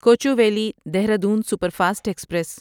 Kochuveli Dehradun superfast express